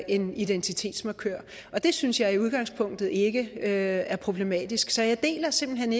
en identitetsmarkør og det synes jeg i udgangspunktet ikke er problematisk så jeg deler simpelt hen